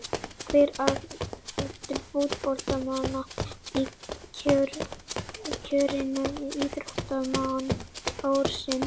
Hver á að vera efstur fótboltamanna í kjörinu á Íþróttamanni ársins?